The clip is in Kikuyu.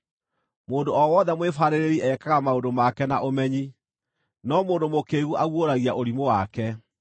Mũndũ o wothe mwĩbaarĩrĩri ekaga maũndũ make na ũmenyi, no mũndũ mũkĩĩgu aguũragia ũrimũ wake.